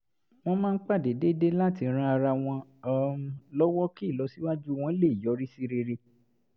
wọ́n máa ń pàdé déédéé láti ran ara wọn um lọ́wọ́ kí ìlọsíwájú wọn lè yọrí sí rere